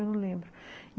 Eu não lembro.